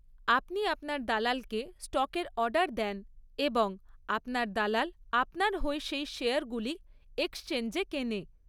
আপনি আপনার দালালকে স্টকের অর্ডার দেন এবং আপনার দালাল আপনার হয়ে সেই শেয়ারগুলি এক্সচেঞ্জে কেনে।